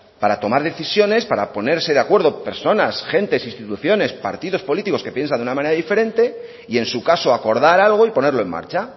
para tomar decisiones para ponerse de acuerdo personas gentes instituciones partidos políticos que piensan de una manera diferente y en su caso acordar algo y ponerlo en marcha